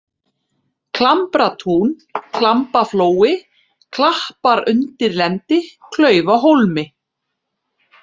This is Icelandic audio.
Klambratún, Klamgaflói, Klappaundirlendi, Klaufahólmi